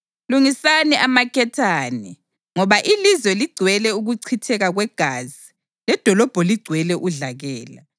Lungisani amaketane ngoba ilizwe ligcwele ukuchitheka kwegazi ledolobho ligcwele udlakela.